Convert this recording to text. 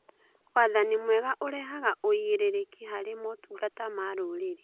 Wathani mwega ũrehaga ũigĩrĩrĩki harĩ motungata ma rũrĩrĩ.